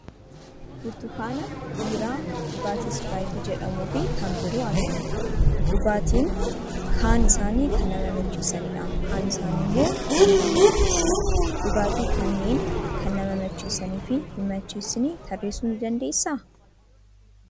Burtukaana, biiraa, dhugaatii ispiraayitii jedhamuu fi kan biroo argina. Dhugaatiin kan isaanii kan nama macheessanidha; kaan isaanii immoo nama hin macheessan. Dhugaatii kanneen kan nama macheessanii fi hin macheessine tarreessuu ni dandeessaa?